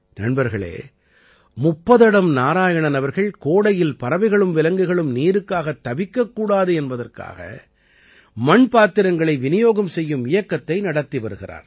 நண்பர்களே முப்பத்தடம் நாராயணன் அவர்கள் கோடையில் பறவைகளும் விலங்குகளும் நீருக்காகத் தவிக்கக் கூடாது என்பதற்காக மண் பாத்திரங்களை விநியோகம் செய்யும் இயக்கத்தை நடத்தி வருகிறார்